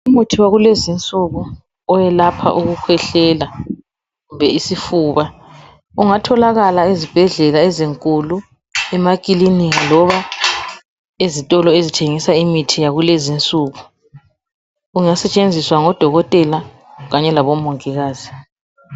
umuthi wakulezinsuku oyelapha ukukhwehlela kumbe isifuba ungatholakala ezibhedlela ezinkulu emakiliniki loba ezitolo ezithengisa imithi yakulezi insuku ungasetshenziswangabo dokotela kanye labo mongikazi